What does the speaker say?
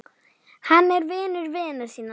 Hann var vinur vina sinna.